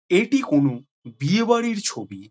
এইটি কোনও বিয়ে বাড়ির ছবি ।